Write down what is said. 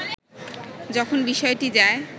যখন বিষয়টি যায়